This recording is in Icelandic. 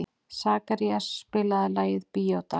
Sakarías, spilaðu lagið „Bíódagar“.